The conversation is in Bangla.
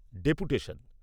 ডেপুটেশন